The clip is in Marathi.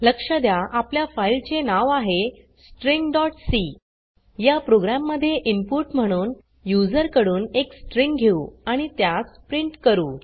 लक्ष द्या आपल्या फाइल चे नाव आहे stringसी या प्रोग्राम मध्ये इनपुट म्हणून यूज़र कडून एक स्ट्रिंग घेऊ आणि त्यास प्रिंट करू